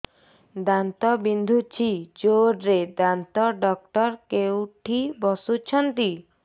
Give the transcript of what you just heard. ଦାନ୍ତ ବିନ୍ଧୁଛି ଜୋରରେ ଦାନ୍ତ ଡକ୍ଟର କୋଉଠି ବସୁଛନ୍ତି